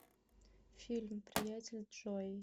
фильм приятель джои